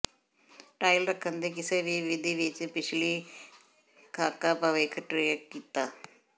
tile ਰੱਖਣ ਦੇ ਕਿਸੇ ਵੀ ਵਿਧੀ ਵਿਚ ਪਿਛਲੀ ਖਾਕਾ ਭਵਿੱਖ ਟਰੈਕ ਕੀਤਾ